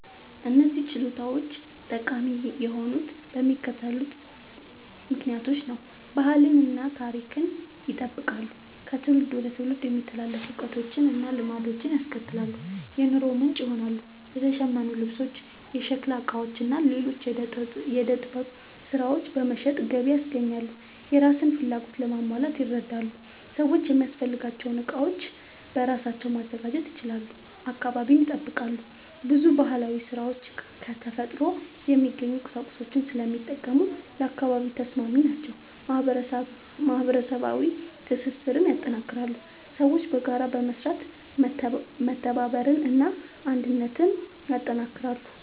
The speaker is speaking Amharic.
እነዚህ ችሎታዎች ጠቃሚ የሆኑት በሚከተሉት ምክንያቶች ነው፦ ባህልን እና ታሪክን ይጠብቃሉ – ከትውልድ ወደ ትውልድ የሚተላለፉ እውቀቶችን እና ልማዶችን ያስቀጥላሉ። የኑሮ ምንጭ ይሆናሉ – የተሸመኑ ልብሶች፣ የሸክላ ዕቃዎች እና ሌሎች የዕደ ጥበብ ሥራዎች በመሸጥ ገቢ ያስገኛሉ። የራስን ፍላጎት ለማሟላት ይረዳሉ – ሰዎች የሚያስፈልጋቸውን ዕቃዎች በራሳቸው ማዘጋጀት ይችላሉ። አካባቢን ይጠብቃሉ – ብዙ ባህላዊ ሥራዎች ከተፈጥሮ የሚገኙ ቁሳቁሶችን ስለሚጠቀሙ ለአካባቢ ተስማሚ ናቸው። ማህበረሰባዊ ትስስርን ያጠናክራሉ – ሰዎች በጋራ በመስራት መተባበርን እና አንድነትን ያጠናክራሉ።